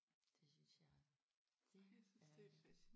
Det synes jeg det er